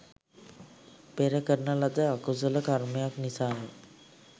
පෙර කරන ලද අකුසල කර්මයක් නිසා ය.